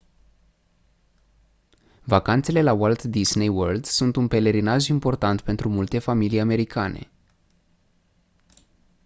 vacanțele la walt disney world sunt un pelerinaj important pentru multe familii americane